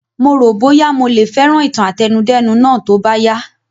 Mo ro boya mo le fẹràn ìtàn àtẹnudẹ́nu Náà tó bá yá a